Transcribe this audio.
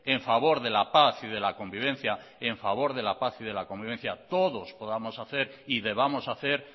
a favor de la paz y de la convivencia todo podamos hacer y debamos hacer